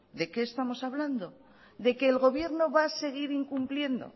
de qué estamos hablando de qué el gobierno va a seguir incumpliendo